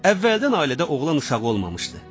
Əvvəldən ailədə oğlan uşağı olmamışdı.